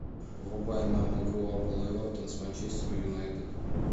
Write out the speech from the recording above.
врубай нам игру апл эвертон с манчестер юнайтед